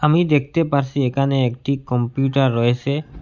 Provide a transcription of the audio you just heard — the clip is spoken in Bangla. আমি দেখতে পারসি একানে একটি কম্পিউটার রয়েসে ।